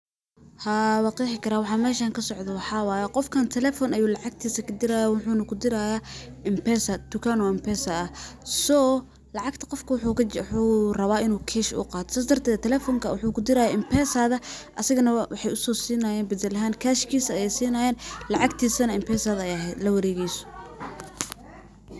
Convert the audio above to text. Haa, wanqexi karaah , waxaa meshan kasocdho waxaa waye qofkan telefon ayuu lacagtisa kadirayaa wuxu na kudirayaa M-pesa, tukan oo M-pesa ah. So qofka wuxuu rawag lacagta in kash uu uqato, sas darted, telefonka wuxu kudiraya M-pesada, asagana waxay usosinayan badal ahan kashka, lacagtisana M-pesada ayaa lawaregeyso.